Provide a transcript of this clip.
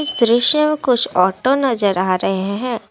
दृश्य कुछ ऑटो नजर आ रहे है।